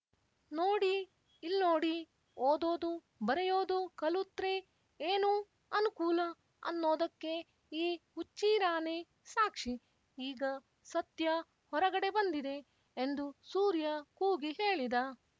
ನೋಡಿ ಇಲ್ನೋಡಿ ಓದೋದು ಬರೆಯೋದು ಕಲುತ್ರೆ ಏನ್ ಅನ್ಕೂಲ ಅನ್ನೋದಕ್ಕೆ ಈ ಹುಚ್ಚೀರಾನೇ ಸಾಕ್ಷಿ ಈಗ ಸತ್ಯ ಹೊರಗಡೆ ಬಂದಿದೆ ಎಂದು ಸೂರ್ಯ ಕೂಗಿ ಹೇಳಿದ